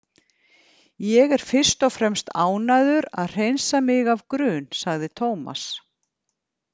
Ég er fyrst og fremst ánægður að hreinsa mig af grun, sagði Tómas.